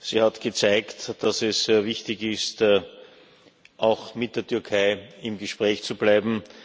Sie hat gezeigt, dass es sehr wichtig ist, auch mit der Türkei im Gespräch zu bleiben.